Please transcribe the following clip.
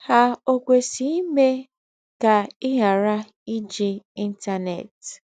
Há o kwesíè ímé kà í ghárà íjì Íntánẹ́t?